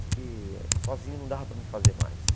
porque sozinho não dava para mim fazer mais.